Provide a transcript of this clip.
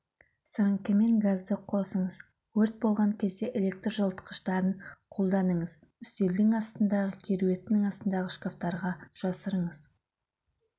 сіріңкемен газды қосыңыз өрт болған кезде электр жылытқыштарын қолданыңыз үстелдің астындағы кереуеттің астындағы шкафтарға жасырыңыз